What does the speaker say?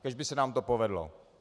Kéž by se nám to povedlo.